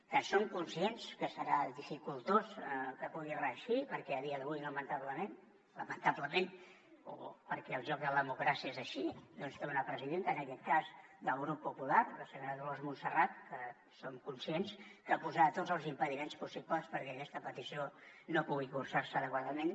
que som conscients que serà dificultós que pugui reeixir perquè a dia d’avui lamentablement lamentablement o perquè el joc de la democràcia és així doncs té una presidenta en aquest cas del grup popular la senyora dolors montserrat que som conscients que posarà tots els impediments possibles perquè aquesta petició no pugui cursar se adequadament